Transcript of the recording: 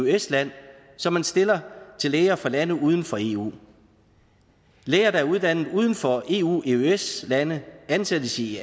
eøs land som man stiller til læger fra lande uden for eu læger der er uddannet uden for eu eøs lande ansættes i